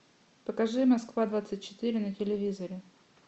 покажи москва двадцать четыре на телевизоре